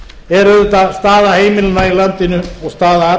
er auðvitað staða heimilanna í landinu og staða